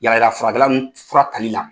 Yalayala furkɛlan ninnu fura tali la.